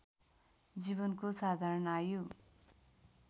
जीवनको साधारण आयु